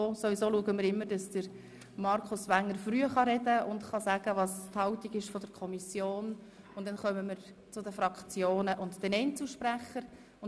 Wir starten nun mit dem Votum der Grünen, dann kommen wir zum Kommissionssprecher, gefolgt von den Fraktionen und den Einzelsprechern.